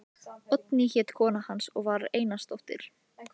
Oddný hét kona hans og var Einarsdóttir.